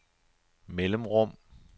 mellemrum